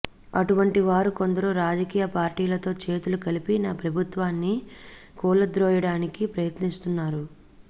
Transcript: అటువంటి వారు కొందరు రాజకీయ పార్టీలతో చేతులు కలిపి నా ప్రభుత్వాన్ని కూలద్రోయడానికి ప్రయత్నిస్తున్నారు